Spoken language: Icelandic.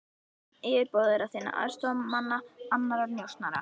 Nöfn yfirboðara þinna, aðstoðarmanna, annarra njósnara.